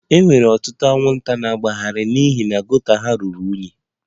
E nwere ọtụtụ anwụnta na mpaghara a n'ihi gota ha ruru unyi